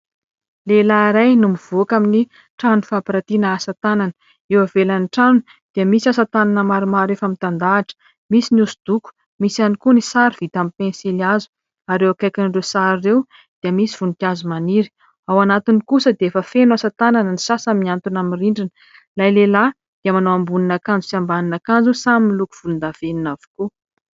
Lehilahy iray no mivoaka amin'ny trano famparatiana asatanana. Eo avelan'ny trano dia misy asatanana maromaro efa mitandahatra. Misy ny hoso-doko, misy ihany koa ny sary vita amin'ny pensilihazo ary eo akaikin'ireo sary ireo dia misy voninkazo maniry. Ao anatiny kosa dia efa feno asatanana, ny sasany miantona amin'ny rindrina. Ilay lehilahy dia manao ambonin' akanjo sy ambanin' akanjo samy miloko volon-davenina avokoa.